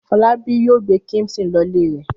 Fọlábí yóò gbé kíḿṣì lọ ilé rẹ̀.